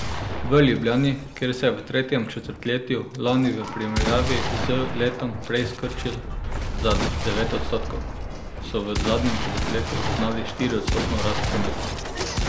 V Ljubljani, kjer se je v tretjem četrtletju lani v primerjavi z letom prej skrčil za devet odstotkov, so v zadnjem četrtletju zaznali štiriodstotno rast prometa.